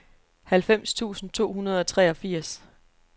halvfems tusind to hundrede og treogfirs